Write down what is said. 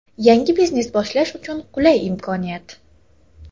Yangi biznes boshlash uchun qulay imkoniyat!.